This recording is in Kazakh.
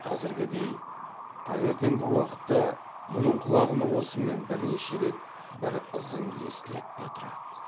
қазіргідей таңертеңгі уақытта мұның құлағына осымен бірнеше рет бір ызың естіледі де тұрады